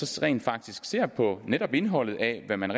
så rent faktisk ser på netop indholdet af hvad man